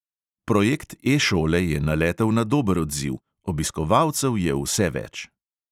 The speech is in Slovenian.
Projekt e-šole je naletel na dober odziv: obiskovalcev je vse več.